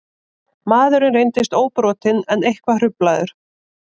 Maðurinn reyndist óbrotinn en eitthvað hruflaður